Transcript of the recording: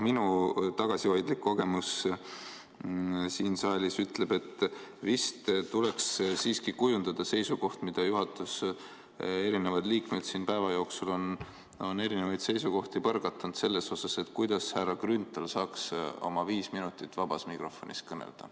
Minu tagasihoidlik kogemus siin saalis ütleb, et vist tuleks siiski kujundada seisukoht – juhatuse liikmed on siin päeva jooksul selle kohta erinevaid seisukohti põrgatanud –, kuidas härra Grünthal saaks oma viis minutit vabas mikrofonis kõneleda.